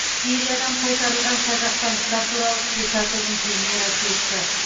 сириядан қайтарылған қазақстандықтар туралы спектакльдің премьерасы өтті